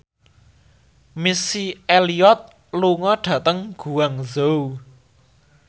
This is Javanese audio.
Missy Elliott lunga dhateng Guangzhou